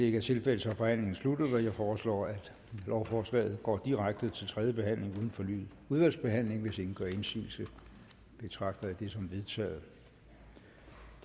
ikke tilfældet så er forhandlingen sluttet jeg foreslår at lovforslaget går direkte til tredje behandling uden fornyet udvalgsbehandling hvis ingen gør indsigelse betragter jeg det som vedtaget